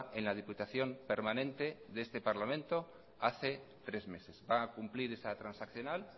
en la diputación permanente de este parlamento hace tres meses va a cumplir esa transaccional